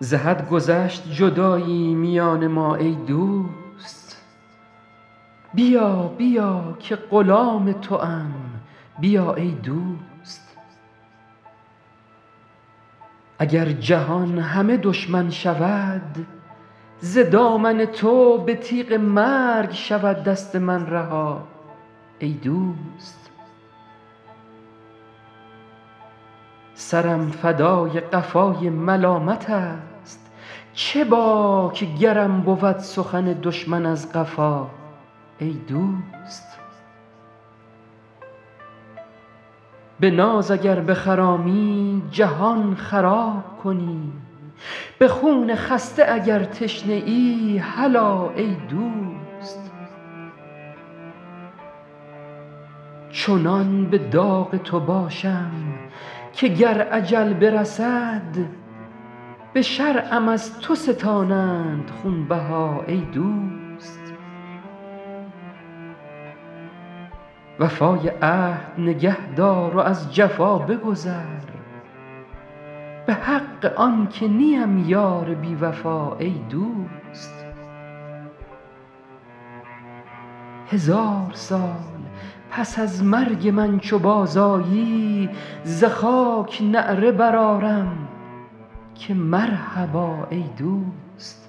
ز حد گذشت جدایی میان ما ای دوست بیا بیا که غلام توام بیا ای دوست اگر جهان همه دشمن شود ز دامن تو به تیغ مرگ شود دست من رها ای دوست سرم فدای قفای ملامتست چه باک گرم بود سخن دشمن از قفا ای دوست به ناز اگر بخرامی جهان خراب کنی به خون خسته اگر تشنه ای هلا ای دوست چنان به داغ تو باشم که گر اجل برسد به شرعم از تو ستانند خونبها ای دوست وفای عهد نگه دار و از جفا بگذر به حق آن که نیم یار بی وفا ای دوست هزار سال پس از مرگ من چو بازآیی ز خاک نعره برآرم که مرحبا ای دوست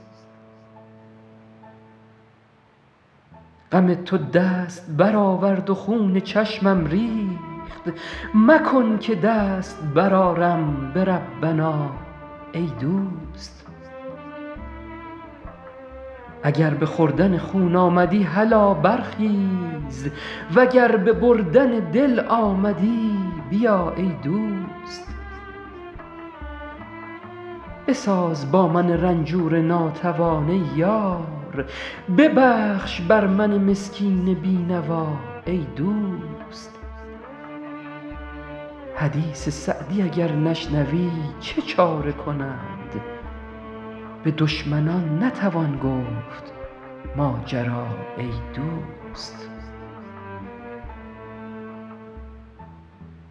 غم تو دست برآورد و خون چشمم ریخت مکن که دست برآرم به ربنا ای دوست اگر به خوردن خون آمدی هلا برخیز و گر به بردن دل آمدی بیا ای دوست بساز با من رنجور ناتوان ای یار ببخش بر من مسکین بی نوا ای دوست حدیث سعدی اگر نشنوی چه چاره کند به دشمنان نتوان گفت ماجرا ای دوست